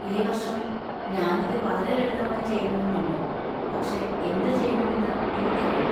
ഈ വർഷം ഞാൻ ഇത് വളരെ ലളിതമായി ചെയ്യണമെന്ന് ഉണ്ട്, പക്ഷേ എന്തുചെയ്യണമെന്ന് എനിക്കറിയില്ല.